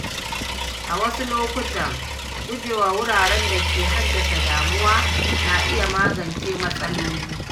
A wasu lokuta, gujewa wuraren da ke haddasa damuwa na iya magance matsaloli.